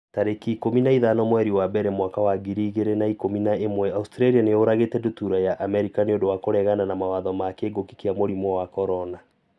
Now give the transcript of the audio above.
tarĩki ikũmi na ithano mweri wa mbere mwaka wa ngiri igĩrĩ na ikũmi na ĩmweAustralia nĩ yũragĩte ndutura ya Amerika 'nĩ ũndũ wa kũregana mawatho ma kĩngũki kia mũrimũ wa CORONA